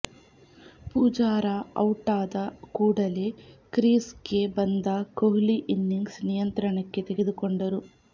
ಪೂಜಾರಾ ಔಟಾದ ಕೂಡಲೇ ಕ್ರೀಸ್ಗೆ ಬಂದ ಕೊಹ್ಲಿ ಇನ್ನಿಂಗ್ಸ್ ನಿಯಂತ್ರಣಕ್ಕೆ ತೆಗೆದುಕೊಂಡರು